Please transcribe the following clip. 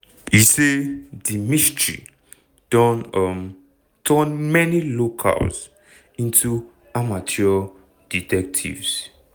e say di mystery don um turn many locals into amateur detectives.